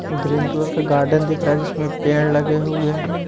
Green colour का garden दिख रहा है जिसमें पेड़ लगे हुए हैं।